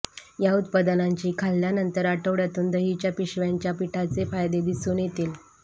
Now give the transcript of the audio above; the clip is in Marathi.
या उत्पादनांची खाल्ल्यानंतर आठवड्यातून दहीच्या पिशव्यांच्या पिठाचे फायदे दिसून येतील